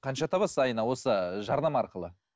қанша табасыз айына осы жарнама арқылы